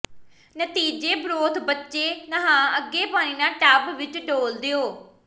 ਨਤੀਜੇ ਬਰੋਥ ਬੱਚੇ ਨਹਾ ਅੱਗੇ ਪਾਣੀ ਨਾਲ ਟੱਬ ਵਿੱਚ ਡੋਲ੍ਹ ਦਿਓ